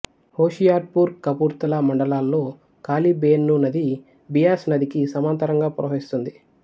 హోషియర్పూర్ కపుర్తలా మండలాల్లో కాళి బేయ్న్ నది బియాస్ నదికి సమాంతరంగా ప్రవహిస్తుంది